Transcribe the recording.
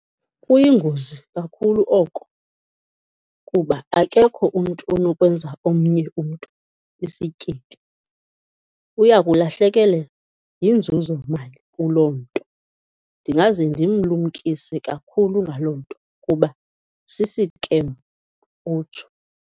Kuyingozi kakhulu oko kuba akekho umntu onokwenza omnye umntu isityebi. Uya kulahlekelwa yinzuzomali kuloo nto. Ndingaze ndimlumkise kakhulu ngaloo nto kuba sisikem, utsho.